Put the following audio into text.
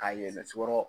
Ka yɛlɛ sukɔrɔ